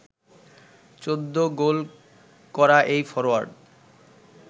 ১৪ গোল করা এই ফরোয়ার্ড